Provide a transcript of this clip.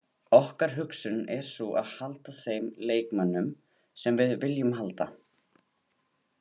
Okkar hugsun er sú að halda þeim leikmönnum sem við viljum halda.